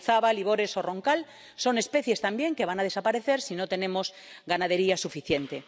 Idiazábal, Ibores o Roncal son especies también que van a desaparecer si no tenemos ganadería suficiente.